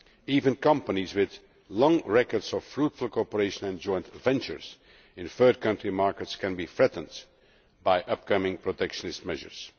Even companies with long records of fruitful cooperation and joint ventures in third country markets can be threatened by upcoming protectionist measures.